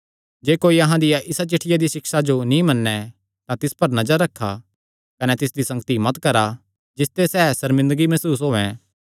जे कोई अहां दिया इसा चिठ्ठिया दिया सिक्षा जो नीं मन्नैं तां तिस पर नजर रखा कने तिसदी संगति मत करा जिसते सैह़ सर्मिंदगी मसूस होयैं